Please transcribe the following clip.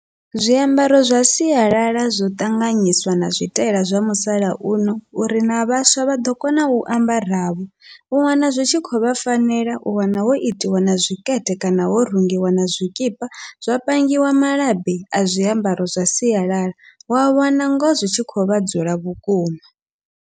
Zwiambaro zwa sialala zwo ṱanganyiswa na zwitaela zwa musalauno uri na vhaswa vhaḓo kona u ambara vho, u wana zwi tshi khou vha fanela u wana ho itiwa na zwikete kana ho rungiwa na zwikipa zwa pangiwa malabi a zwiambaro zwa sialala, wa wana ngoho zwitshi khovha dzula vhukuma.